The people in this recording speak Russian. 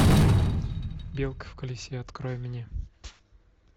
белка в колесе открой мне